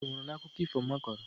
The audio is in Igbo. Mbe nwụrụ n'akụkọ ifo mma kọrọ.